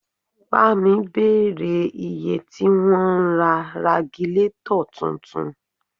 Pámi bèrè iye tí wọ́n ń ra ragilátọ̀ tuntun